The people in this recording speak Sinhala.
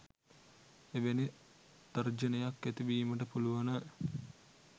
එවැනි තර්ජනයක් ඇති වීමට පුළුවන.